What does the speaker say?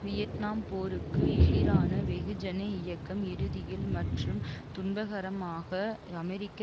Vietnam போருக்கு எதிரான வெகுஜன இயக்கம் இறுதியில் மற்றும் துன்பகரமாக அமெரிக்க